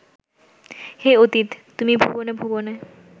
হে অতীত তুমি ভুবনে ভুবনে